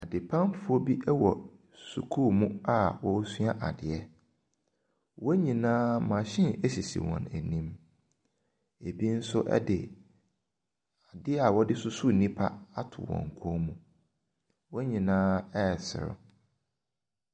Adepamfoɔ bi ɛwɔ sukuu mu a ɔresoa adeɛ. Wɔn nyinaa machine ɛsisi wɔn ɛnim. Ebi nso ɛde adeɛ ɔdesusu nipa ato wɔn kɔn mu. Wɔn nyinaa ɛresrew.